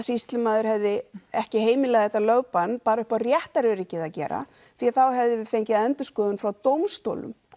sýslumaður hefði ekki heimilað þetta lögbann bara upp á réttaröryggið að gera því þá hefðum við fengið endurskoðun frá dómstólum